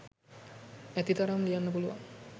ඇතිතරම් ලියන්න පුළුවන්